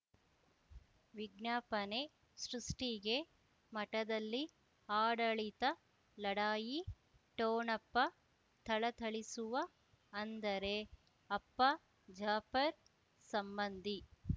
ವಿಜ್ಞಾಪನೆ ಸೃಷ್ಟಿಗೆ ಮಠದಲ್ಲಿ ಆಡಳಿತ ಲಢಾಯಿ ಠೊಣಪ ಥಳಥಳಿಸುವ ಅಂದರೆ ಅಪ್ಪ ಜಾಫರ್ ಸಂಬಂಧಿ